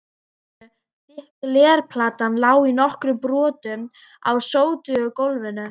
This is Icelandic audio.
borðinu, þykk glerplatan lá í nokkrum brotum á sótugu gólfinu.